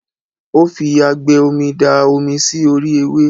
Ó fi agbè omi da omi sí orí ewé.